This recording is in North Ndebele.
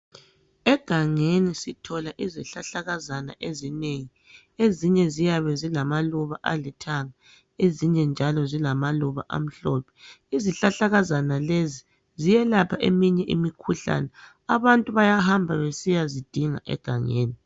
egangeni sithola izihlahlakazana ezinengi ezinye ziyabe ziluba alithanga ezinye njalo zalamaluba amhlophe izhlahlakazana lezi ziyelapha eminye imikhuhlane abantu bayahamba besiyazidinga egangeni